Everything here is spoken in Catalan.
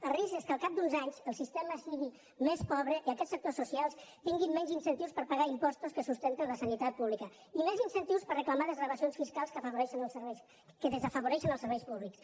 el risc és que al cap d’uns anys el sistema sigui més pobre i aquests sectors socials tinguin menys incentius per pagar impostos que sustenten la sanitat pública i més incentius per reclamar desgravacions fiscals que desafavoreixen els serveis públics